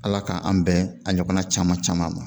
Ala k'an bɛn a ɲɔgɔnna caman caman ma